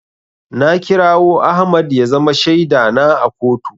Na kirawo Ahmad ya zama shaida na a kotu.